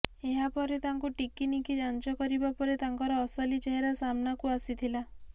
ଏହାପରେ ତାଙ୍କୁ ଟିକିନିଖି ଯାଞ୍ଚ କରିବା ପରେ ତାଙ୍କର ଅସଲି ଚେହେରା ସାମ୍ନାକୁ ଆସିଥିଲା